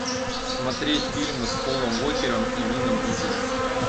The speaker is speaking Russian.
смотреть фильмы с полом уокером и вином дизелем